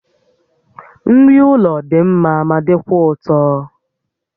Nri ụlọ dị mma ma dịkwa ụtọ